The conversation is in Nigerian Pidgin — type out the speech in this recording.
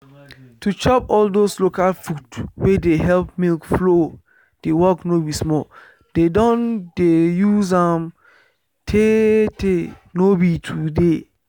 to chop all those local food wey de help milk flow de work no be small. dem don dey use am tey tey no be today